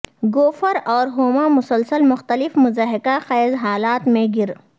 Gopher اور ہوما مسلسل مختلف مضحکہ خیز حالات میں گر